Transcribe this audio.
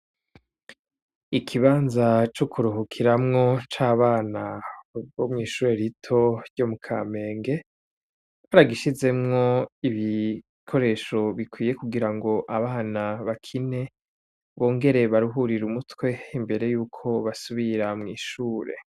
Ikibanza co kuruhukiramwo c’abana bo mw'ishure rito ryo mu kamenge, baragishizemwo ibikoresho bikwiye kugira ngo abana bakine bongere baruhurire umutwe imbere yuko basubira mw’ishure.